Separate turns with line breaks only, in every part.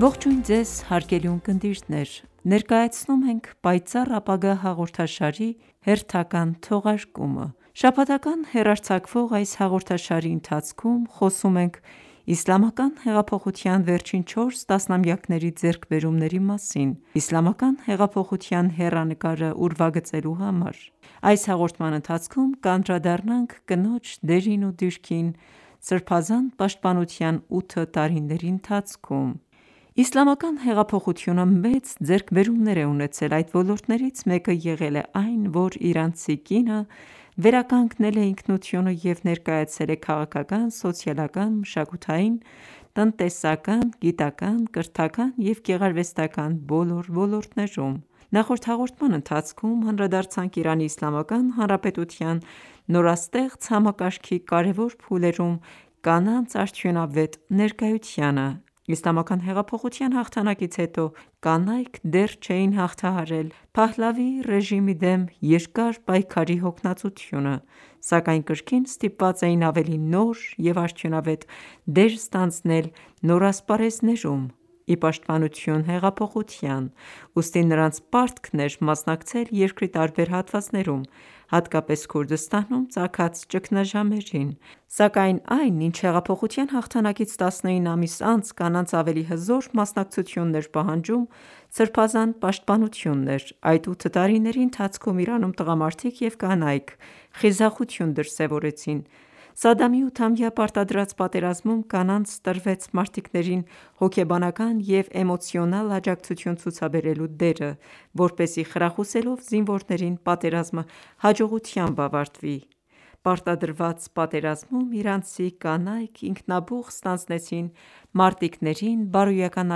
Ողջույն Ձեզ, հարգելի ունկնդիրներ: Ներկայացնում ենք «Պայծառ ապագա» հաղորդաշարի հերթական թողարկումը: Շաբաթական հեռարձակվող այս հաղորդաշարի ընթացքում խոսում ենք Իսլամական հեղափոխության վերջին 4 տասնամյակների ձեռքբերումների մասին՝ Իսլամական հեղափոխության հեռանկարը ուրվագծելու համար։ Իսլամական հեղափոխությունը մեծ ձեռքբերումներ է ունեցել: Այդ ոլորտներից մեկը եղել է այն, որ իրանցի կինը վերականգնել է ինքնությունը և ներկայացել է քաղաքական, սոցիալական, մշակութային, տնտեսական, գիտական, կրթական և գեղարվեստական ​​բոլոր ոլորտներում: Նախորդ հաղորդման ընթացքում անդրադարձանք Իրանի Իսլամական Հանրապետության նորաստեղծ համակարգի կարեւոր փուլերում կանանց արդյունավետ ներկայությանը։ Իսլամական հեղափոխության հաղթանակից հետո կանայք դեռ չէին հաղթահարել Փահլավիի ռեժիմի դեմ երկար պայքարի հոգնածությունը, սակայն կրկին ստիպված էին ավելի նոր և արդյունավետ դեր ստանձնել նոր ասպարեզներում՝ ի պաշտպանություն հեղափոխության: Ուստի նրանց պարտքն էր մասնակցել երկրի տարբեր հատվածներում, հատկապես Քուրդիստանում ծագած ճգնաժամերին, սակայն այն, ինչ հեղափոխության հաղթանակից 19 ամիս անց կանանց ավելի հզոր մասնակցությունն էր պահանջում, սրբազան պաշտպանությունն էր։ Այդ ութ տարիների ընթացքում Իրանում տղամարդիկ և կանայք խիզախություն դրսևորեցին: Սադամի ութամյա պարտադրած պատերազմում կանանց տրվեց մարտիկներին հոգեբանական և էմոցիոնալ աջակցություն ցուցաբերելու դերը, որպեսզի խրախուսելով զինվորներին պատերազմը հաջողությամբ ավարտվի։ Պարտադրված պատերազմում իրանցի կանայք ինքնաբուխ ստանձնեցին մարտիկներին բարոյական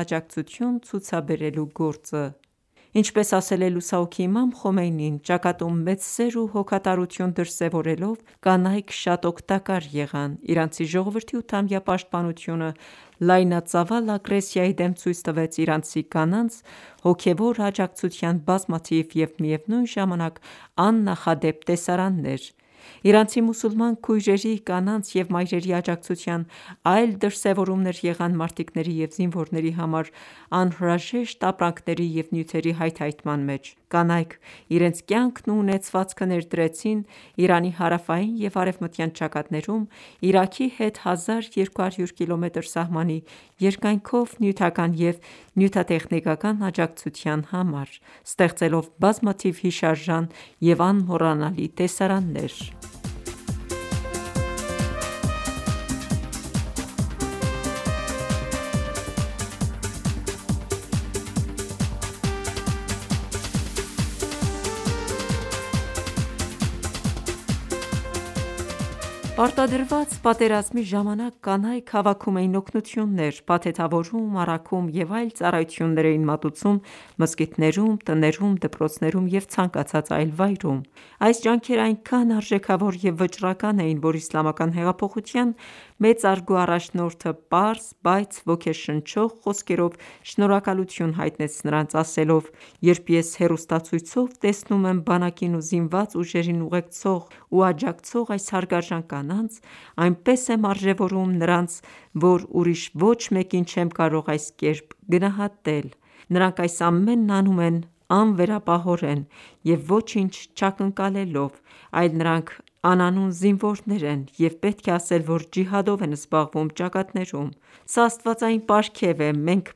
աջակցություն ցուցաբերելու գործը։ Ինչպես ասել է լուսահոգի Իմամ Խոմեյնին՝ «Ճակատում մեծ սեր ու հոգատարություն դրսևորելով, կանայք շատ օգտակար եղան»: Իրանցի ժողովրդի ութամյա պաշտպանությունը լայնածավալ ագրեսիայի դեմ ցույց տվեց իրանցի կանանց հոգևոր աջակցության բազմաթիվ և միևնույն ժամանակ աննախադեպ տեսարաններ։ Իրանցի մուսուլման քույրերի, կանանց և մայրերի աջակցության այլ դրսևորումներ եղան մարտիկների և զինվորների համար անհրաժեշտ ապրանքների և նյութերի հայթհայթման մեջ: Կանայք իրենց կյանքն ու ունեցվածքը ներդրեցին Իրանի հարավային և արևմտյան ճակատներում Իրաքի հետ 1200 կմ սահմանի երկայնքով նյութական և նյութատեխնիկական աջակցության համար, ստեղծելով բազմաթիվ հիշարժան և անմոռանալի տեսարաններ: Կանայք պատերազմի ճակատում Պարտադրված պատերազմի ժամանակ կանայք հավաքում էին օգնություններ, փաթեթավորում, առաքում և այլ ծառայություններ էին մատուցում մզկիթներում, տներում, դպրոցներում և ցանկացած այլ վայրում: Այս ջանքերն այնքան արժեքավոր և վճռական էին, որ Իսլամական հեղափոխության մեծարգո առաջնորդը պարզ, բայց ոգեշնչող խոսքերով շնորհակալություն հայտնեց նրանց, ասելով.«Երբ ես հեռուստացույցով տեսնում եմ բանակին ու զինված ուժերին ուղեկցող ու աջակցող այս հարգարժան կանանց, այնպես եմ արժևորում նրանց, որ ուրիշ ոչ մեկին չեմ կարող այս կերպ գնահատել։ Նրանք այս ամենն անում են անվերապահորեն և ոչինչ չակնկալելով, այլ նրանք անանուն զինվորներ են, և պետք է ասել, որ ջիհադով են զբաղվում ճակատներում։ Սա աստվածային պարգև է, մենք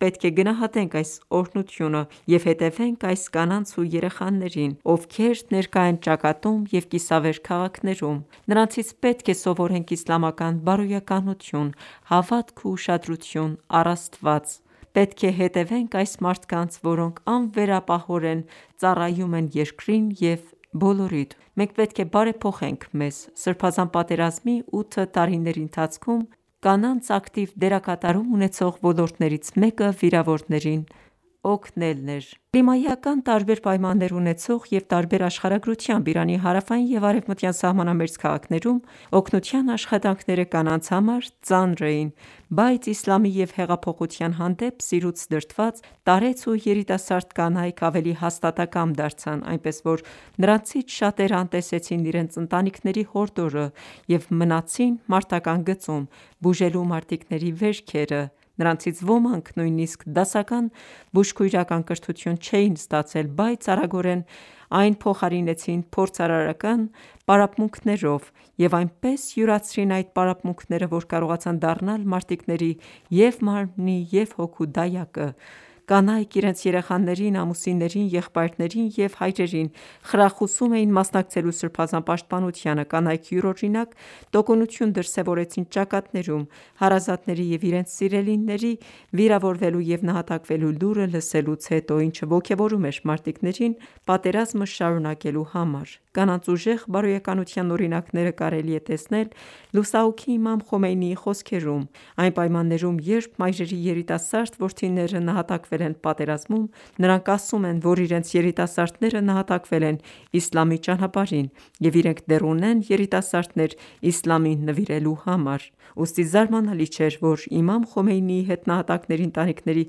պետք է գնահատենք այս օրհնությունը և հետևենք այս կանանց ու երեխաներին, ովքեր ներկա են ճակատում և կիսավեր քաղաքներում: Նրանցից պետք է սովորենք իսլամական բարոյականություն, հավատք և ուշադրություն առ Աստված: Պետք է հետևենք այս մարդկանց, որոնք անվերապահորեն ծառայում են երկրին և բոլորիդ: Մենք պետք է բարեփոխենք մեզ»։ Սրբազան պատերազմի ութ տարիների ընթացքում կանանց ակտիվ դերակատարում ունեցող ոլորտներից մեկը վիրավորներին օգնելն էր։ Կլիմայական տարբեր պայմաններ ունեցող և տարբեր աշխարհագրությամբ Իրանի հարավային և արևմտյան սահմանամերձ քաղաքներում, օգնության աշխատանքները կանանց համար ծանր էին, բայց իսլամի և հեղափոխության հանդեպ սիրուց դրդված, տարեց ու երիտասարդ կանայք ավելի հաստատակամ դարձան, այնպես, որ նրանցից շատերը անտեսեցին իրենց ընտանիքների հորդորը՝ և մնացին մարտական ​​գծում՝ բուժելու մարտիկների վերքերը: Նրանցից ոմանք նույնիսկ դասական բուժքույրական կրթություն չէին ստացել, բայց արագորեն այն փոխարինեցին փորձարարական պարապմունքներով և այնպես յուրացրին այդ պարապմունքները, որ կարողացան դառնալ մարտիկների և՛ մարմնի, և՛ հոգու դայակը: Կանայք իրենց երեխաներին, ամուսիններին, եղբայրներին և հայրերին խրախուսում էին մասնակցելու սրբազան պաշտպանությանը: Կանայք յուրօրինակ տոկունություն դրսևորեցին ճակատներում՝ հարազատների և իրենց սիրելիների վիրավորվելու և նահատակվելու լուրը լսելուց հետո, ինչը ոգևորում էր մարտիկներին պատերազմը շարունակելու համար: Կանանց ուժեղ բարոյականության օրինակները կարելի է տեսնել լուսահոգի Իմամ Խոմեյնիի խոսքերում. «Այն պայմաններում, երբ մայրերի երիտասարդ որդիները նահատակվել են պատերազմում, նրանք ասում են, որ իրենց երիտասարդները նահատակվել են իսլամի ճանապարհին և իրենք դեռ ունեն երիտասարդներ իսլամին նվիրելու համար»: Ուստի զարմանալի չէր, որ Իմամ Խոմեյնիի հետ նահատակների ընտանիքների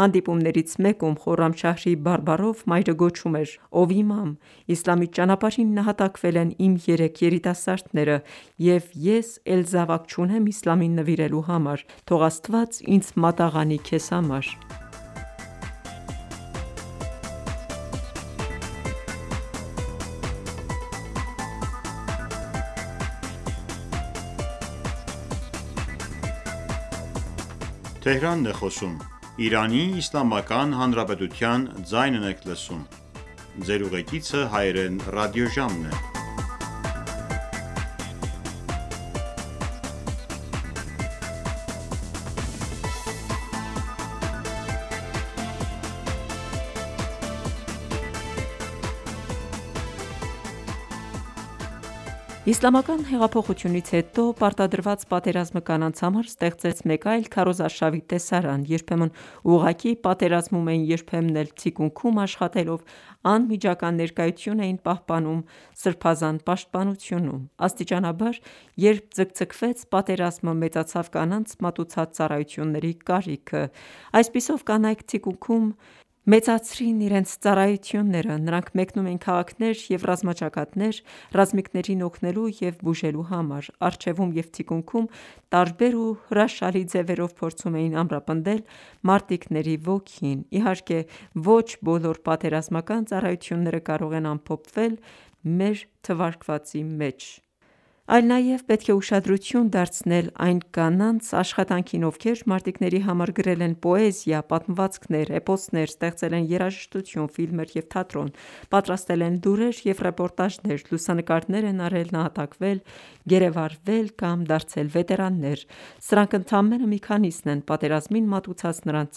հանդիպումներից մեկում Խորամշահրի բարբառով մայրը գոչում էր. «Ո՛վ իմամ, Իսլամի ճանապարհին նահատակվել են իմ երեք երիտասարդները և ես էլ զավակ չունեմ իսլամին նվիրելու համար: Թող Աստված ինձ մատաղ անի քեզ համար»: Իսլամական հեղափոխությունից հետո պարտադրված պատերազմը կանանց համար ստեղծեց մեկ այլ քարոզարշավի տեսարան։ Երբեմն ուղղակի պատերազմում էին, երբեմն էլ, թիկունքում աշխատելով, անմիջական ներկայություն էին պահպանում սրբազան պաշտպանությունում։ Աստիճանաբար, երբ ձգձգվեց պատերազմը, մեծացավ կանանց մատուցած ծառայությունների կարիքը: Այսպիսով, կանայք թիկունքում մեծացրին իրենց ծառայությունները: Նրանք մեկնում էին քաղաքներ և ռազմաճակատներ՝ ռազմիկներին օգնելու և բուժելու համար։ Առջևում և թիկունքում տարբեր ու հրաշալի ձևերով փորձում էին ամրապնդել մարտիկների ոգին։ Իհարկե, ոչ բոլոր պատերազմական ծառայությունները կարող են ամփոփվել մեր թվարկածի մեջ, այլ նաև պետք է ուշադրություն դարձնել այն կանանց աշխատանքին, ովքեր մարտիկների համար գրել են պոեզիա, պատմվածքներ, էպոսներ, ստեղծել են երաժշտություն, ֆիլմեր և թատրոն, պատրաստել են լուրեր և ռեպորտաժներ, լուսանկարներ են արել, նահատակվել, գերեվարվել կամ դարձել վետերաններ։ Սրանք ընդամենը մի քանիսն են պատերազմին մատուցած նրանց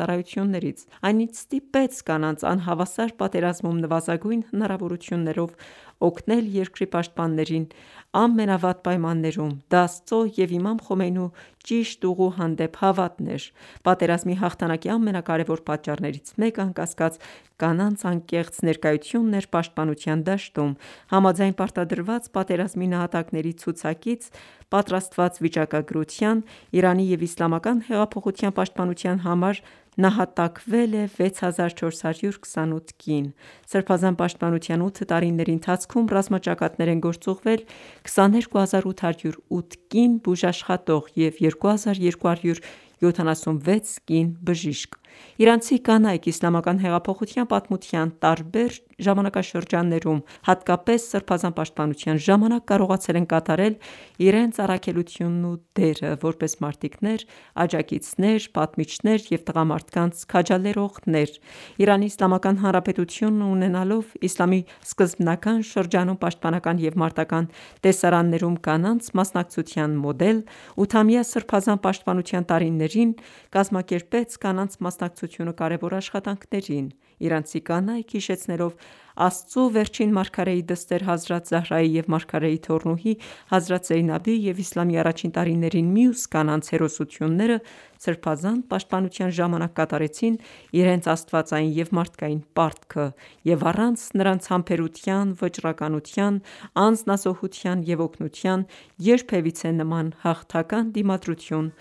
ծառայություններից։ Այն, ինչ ստիպեց կանանց անհավասար պատերազմում նվազագույն հնարավորություններով օգնել երկրի պաշտպաններին ամենավատ պայմաններում, դա Աստծո և Իմամ Խոմեյնու ճիշտ ուղու հանդեպ հավատն էր: Պատերազմի հաղթանակի ամենակարեւոր պատճառներից մեկը, անկասկած, կանանց անկեղծ ներկայությունն էր պաշտպանության դաշտում։ Համաձայն պարտադրված պատերազմի նահատակների ցուցակից պատրաստված վիճակագրության՝ Իրանի և Իսլամական հեղափոխության պաշտպանության համար նահատակվել է 6428 կին։ Սրբազան պաշտպանության 8 տարիների ընթացքում ռազմաճակատներ են գործուղվել 22808 կին բուժաշխատող և 2276 կին բժիշկ։ Իրանցի կանայք Իսլամական հեղափոխության պատմության տարբեր ժամանակաշրջաններում, հատկապես Սրբազան պաշտպանության ժամանակ, կարողացել են կատարել իրենց առաքելությունն ու դերը՝ որպես մարտիկներ, աջակիցներ, պատմիչներ և քաջալերողներ: Իրանի Իսլամական Հանրապետությունը, ունենալով Իսլամի սկզբնական շրջանում պաշտպանական և մարտական ​​տեսարաններում կանանց մասնակցության մոդել, ութամյա սրբազան պաշտպանության տարիներին կազմակերպեց կանանց մասնակցությունը կարևոր աշխատանքներին: Իրանցի կանայք հիշեցնելով Աստծո վերջին մարգարեի դստեր՝ Հազրաթ Զահրայի և մարգարեի թոռնուհի Հազրաթ Զեյնաբի և իսլամի առաջին տարիներին մյուս կանանց հերոսությունները, սրբազան պաշտպանության ժամանակ կատարեցին իրենց աստվածային և մարդկային պարտքը: Եվ առանց նրանց համբերության, վճռականության, անձնազոհության և օգնության, երբևիցե նման հաղթական դիմադրություն չէր